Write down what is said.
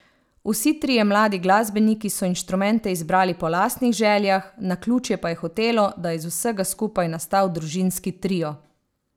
Vsi trije mladi glasbeniki so inštrumente izbrali po lastnih željah, naključje pa je hotelo, da je iz vsega skupaj nastal družinski trio.